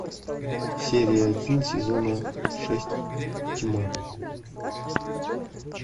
серия один сезона шесть тьма